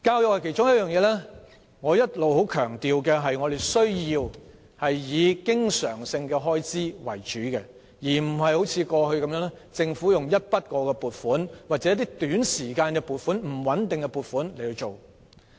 我一直十分強調，教育是需要以經常性開支為主的其中一個範疇，而非如政府過去般以一筆過、短期或不穩定的撥款處理。